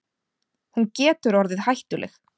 Hún getur orðið hættuleg.